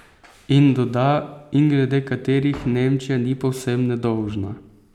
In doda: 'In glede katerih Nemčija ni povsem nedolžna.